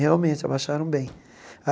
Realmente, abaixaram bem.